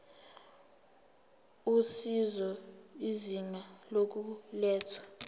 usizo izinga lokulethwa